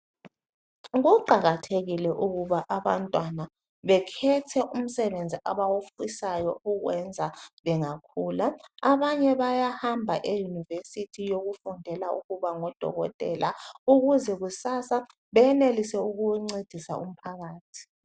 Kuqakathekile ukuba abantwana bekhethe umsebenzi abawufisayo ukuwenza bengakhula. Abanye bayahamba eyunivesithi yokufundela ukuba ngodokotela ukuze kusasa bayenelise ukuncedisa umphakathi.